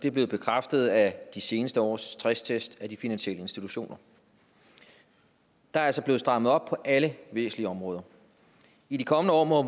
er blevet bekræftet af de seneste års stresstest af de finansielle institutioner der er altså blevet strammet op på alle væsentlige områder i de kommende år må